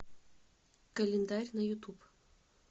календарь на ютуб